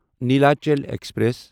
Nilachal express